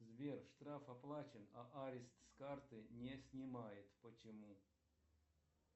сбер штраф оплачен а арест с карты не снимает почему